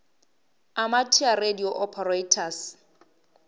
amateur radio operators